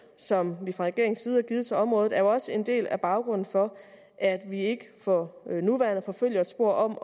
som vi fra regeringens side har givet til området er jo også en del af baggrunden for at vi ikke for nuværende forfølger et spor om